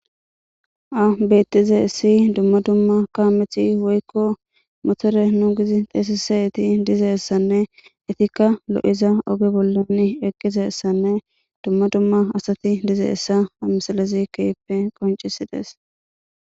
ha betizesi dumma dumma kaameti woykko motore nu gizi teesisayeti dizeessanne etikka lo7iza oge bollan eqqizeessanne dumma dumma asati dize7ssa ha misalezi keyppe qoncisi dees